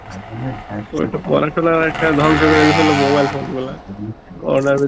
পড়াশুনা ও একটা ধংস করে দিয়েছিল mobile phone গুলা Corona র ভেতর